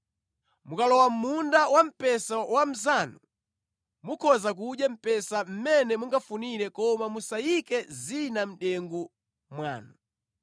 Mukalowa mʼmunda wamphesa wa mnzanu mukhoza kudya mphesa mmene mungafunire koma musayike zina mʼdengu mwanu.